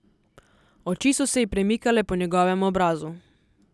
Oči so se ji premikale po njegovem obrazu.